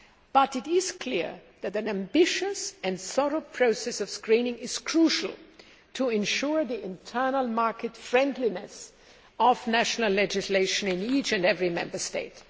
But it is clear that an ambitious and thorough process of screening is crucial to ensure the internal market friendliness' of national legislation in each and every Member State.